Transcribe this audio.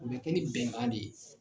O be kɛ ni bɛnkan de ye